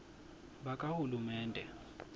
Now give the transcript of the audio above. bakahulumende